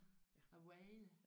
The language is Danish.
Vejret